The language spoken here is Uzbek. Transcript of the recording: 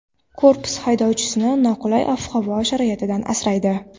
Korpus haydovchini noqulay ob-havo sharoitidan asraydi.